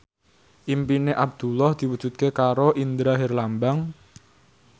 impine Abdullah diwujudke karo Indra Herlambang